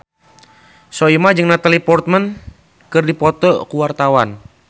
Soimah jeung Natalie Portman keur dipoto ku wartawan